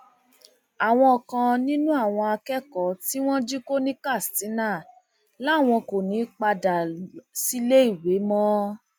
àwọn kan nínú àwọn akẹkọọ tí wọn jí kó ní katsina làwọn kò ní í padà síléèwé mọ